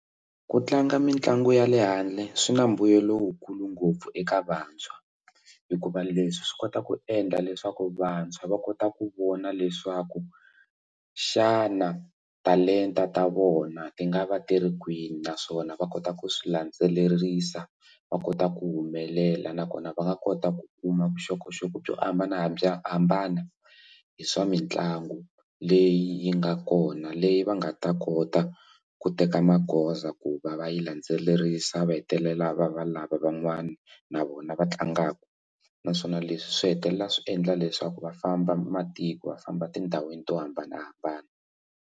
Ku tlanga mitlangu ya le handle swi na mbuyelo wu kulu ngopfu eka vantshwa hikuva leswi swi kota ku endla leswaku vantshwa va kota ku vona leswaku xana talenta ta vona ti nga va ti ri kwini naswona va kota ku swi landzelerisa va kota ku humelela nakona va nga kota ku kuma vuxokoxoko byo hambana bya hambana hi swa mitlangu leyi yi nga kona leyi va nga ta kota ku teka magoza ku va va yi landzelerisa va hetelela va va lava van'wana na vona va tlangaka naswona leswi swi hetelela swi endla leswaku va famba matiko va famba tindhawini to hambanahambana.